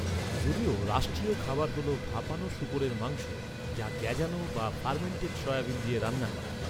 যদিও, রাষ্ট্রীয় খাবার হল ভাপানো শূকরের মাংস, যা গ্যাঁজানো বা ফার্মেন্টেড সয়াবিন দিয়ে রান্না করা।